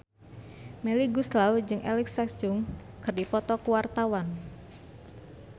Melly Goeslaw jeung Alexa Chung keur dipoto ku wartawan